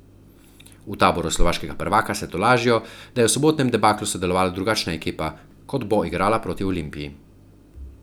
V taboru slovaškega prvaka se tolažijo, da je v sobotnem debaklu sodelovala drugačna ekipa, kot bo igrala proti Olimpiji.